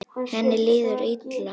Henni líður illa.